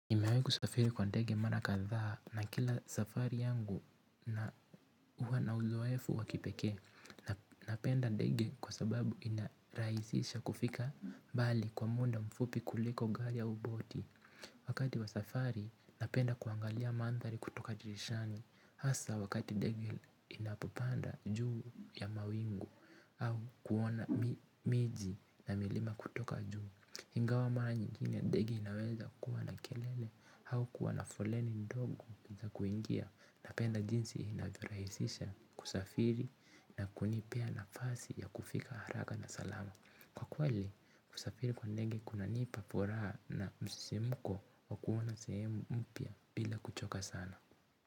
Nimewahi kusafiri kwa ndege mara kadhaa, na kila safari yangu inakuwa na uzoefu wa kipekee. Napenda ndege kwa sababu inarahisisha kufika mbali kwa muda mfupi kuliko gari au boti. Wakati wa safari, napenda kuangalia mandhari kutoka dirishani. Hasa wakati ndege inapopanda juu ya mawingu au kuona miji na milima kutoka juu. Ingawa mara nyingine, ndege inaweza kuwa na kelele au kuwa na foleni ndogo za kuingia. Napenda jinsi inavyorahisisha kusafiri na kunipea nafasi ya kufika haraka na salama. Kwa kweli, kusafiri kwa ndege kunanipa furaha na msisimko wa kuona sehemu mpya bila kuchoka sana.